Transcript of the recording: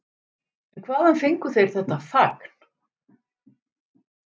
En hvaðan fengu þeir þetta fagn?